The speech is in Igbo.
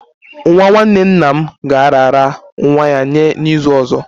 Nwa nwanne nna m ga-arara nwa ya nye n'izu ọzọ